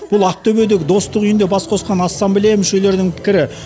бұл ақтөбедегі достық үйінде бас қосқан ассамблея мүшелерінің пікірі